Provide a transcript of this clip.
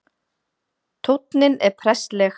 Tónninn er prestleg